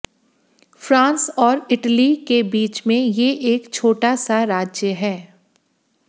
France और Italy के बीच में ये एक छोटा सा राज्य है